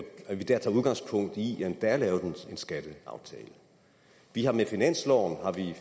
at vi dér tager udgangspunkt i at der er lavet en skatteaftale vi har med finansloven